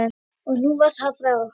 Og nú var það frá.